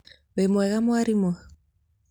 Wi mwega mwarimũ?